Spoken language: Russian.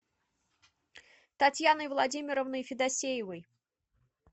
татьяной владимировной федосеевой